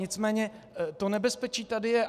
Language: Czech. Nicméně to nebezpečí tady je.